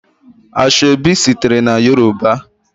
Ashọebi sitere na Yoruba.